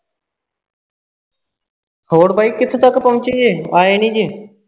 ਹੋਰ ਪਾਜੀ ਕਿੱਥੇ ਤੱਕ ਪਹੁੰਚ ਜੇ ਆਏ ਨਹੀਂ ਜੇ